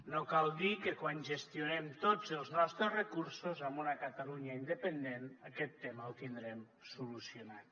no cal dir que quan gestionem tots els nostres recursos en una catalunya independent aquest tema el tindrem solucionat